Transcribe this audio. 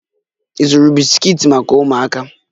Ị zụrụ bisikiiti maka ụmụaka?